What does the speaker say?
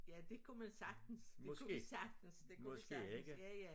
Ja det kunne man sagtens det kunne vi sagtens det kunne vi sagtens ja ja